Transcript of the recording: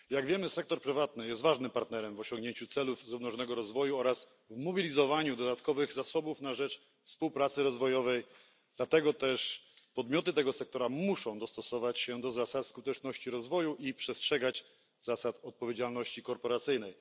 Jak wiemy, sektor prywatny jest ważnym partnerem w osiągnięciu celów zrównoważonego rozwoju oraz w mobilizowaniu dodatkowych zasobów na rzecz współpracy rozwojowej, dlatego też podmioty tego sektora muszą dostosować się do zasad skuteczności rozwoju i przestrzegać zasad odpowiedzialności korporacyjnej.